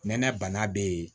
Nɛnɛ bana be yen